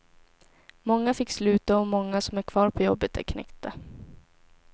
Många fick sluta och många som är kvar på jobbet är knäckta.